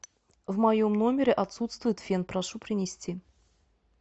в моем номере отсутствует фен прошу принести